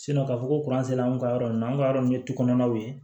k'a fɔ ko sera an ka yɔrɔ nin na an ka yɔrɔ nin ye tukɔnɔw ye